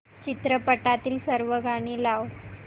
चित्रपटातील सर्व गाणी लाव